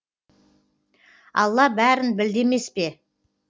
алла бәрін білді емес пе